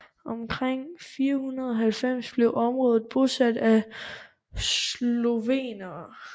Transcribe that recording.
Omkring 590 blev området bosat af slovener